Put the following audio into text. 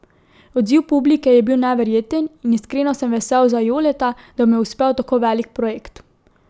Odziv publike je bil neverjeten in iskreno sem vesel za Joleta, da mu je uspel tako velik projekt.